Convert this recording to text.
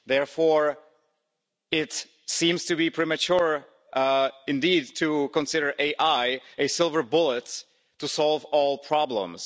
Therefore, it seems to be premature indeed to consider AI a silver bullet to solve all problems.